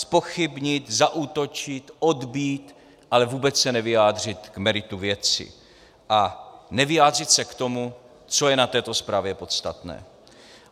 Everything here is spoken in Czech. Zpochybnit, zaútočit, odbýt, ale vůbec se nevyjádřit k meritu věci a nevyjádřit se k tomu, co je na této zprávě podstatné.